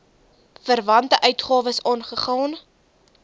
verwante uitgawes aangegaan